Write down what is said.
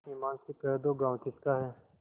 ईमान से कह दो गॉँव किसका है